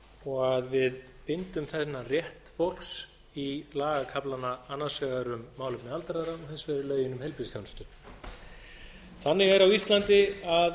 og að við bindum þennan rétt fólks í lagakaflana annars vegar um málefni aldraða og hins vegar í lögin um heilbrigðisþjónustu þannig er að á íslandi um